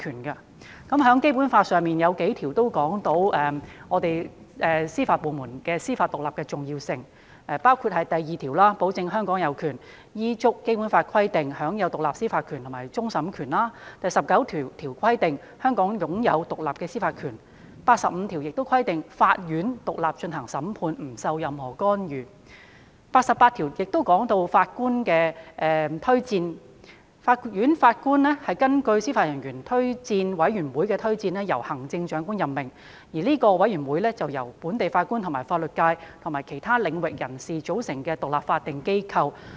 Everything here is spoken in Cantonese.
《基本法》中有數項條文，闡明了司法部門享有司法獨立的重要性，包括第二條保證了香港有權依照《基本法》的規定，享有獨立的司法權和終審權；第十九條規定，香港享有獨立的司法權；第八十五條亦規定，法院獨立進行審判，不受任何干涉；第八十八條亦提到，法院的法官是根據司法人員推薦委員會的推薦，由行政長官任命，而該委員會是由本地法官及法律界和其他領域人士組成的獨立法定機構。